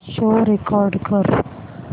show record कर